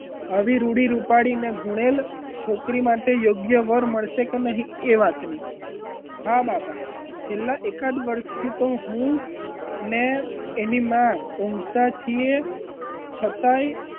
આવી રૂપાળી અને રૂપાળી અને ગુણેલ છોકરીઓ માટે યોગ્ય વાર મળશે કે નહીં એ માટે હા બાપા અને એકાદ વર્ષથી તો હું અને એની માં ઊંઘતા છીએ છતાંય,